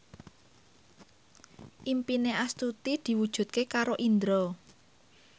impine Astuti diwujudke karo Indro